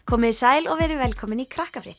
komiði sæl og verið velkomin í